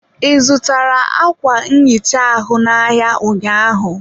ị zụtara ákwà nhicha ahụ n' ahịa ụnyaahụ?